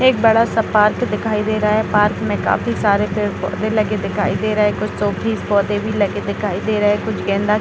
एक बड़ा सा पार्क दिखाई दे रहा है पार्क में काफी सारे पेड़-पौधे लगे दिखाई दे रहे है कुछ शो पीस पौधे भी दिखाई दे रहे है कुछ गेंदा के --